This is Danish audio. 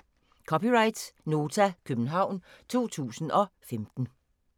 (c) Nota, København 2015